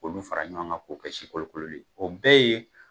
K' olu fara ɲɔgɔn kan k'o kɛ sikolokolo le ye o bɛɛ ye